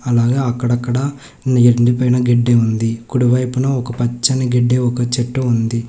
అలాగే అక్కడక్కడ ఎండి పోయిన గడ్డి ఉంది కుడివైపున ఒక పచ్చని గడ్డి ఒక చెట్టు ఉంది.